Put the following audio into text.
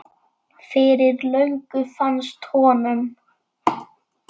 Fyrir löngu fannst honum.